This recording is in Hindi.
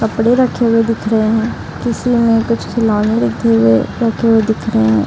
कपड़े रखे हुए दिख रहे हैं किसी ने कुछ खिलौने रखे हुए रखे हुए दिख रहे है।